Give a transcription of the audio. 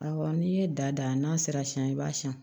Awɔ n'i ye da n'a sera siyɛn i b'a siyan